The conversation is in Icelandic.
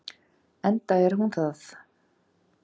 Enda er hún það.